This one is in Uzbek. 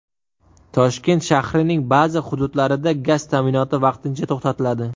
Toshkent shahrining ba’zi hududlarida gaz ta’minoti vaqtincha to‘xtatiladi.